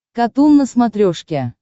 катун на смотрешке